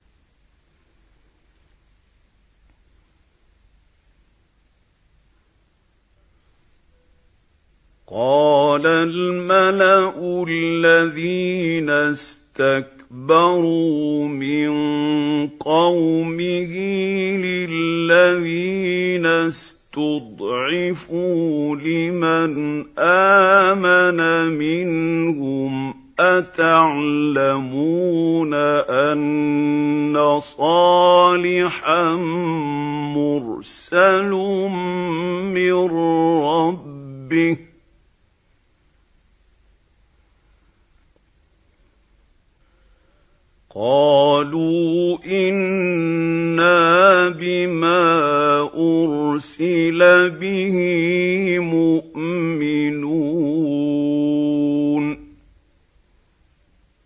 قَالَ الْمَلَأُ الَّذِينَ اسْتَكْبَرُوا مِن قَوْمِهِ لِلَّذِينَ اسْتُضْعِفُوا لِمَنْ آمَنَ مِنْهُمْ أَتَعْلَمُونَ أَنَّ صَالِحًا مُّرْسَلٌ مِّن رَّبِّهِ ۚ قَالُوا إِنَّا بِمَا أُرْسِلَ بِهِ مُؤْمِنُونَ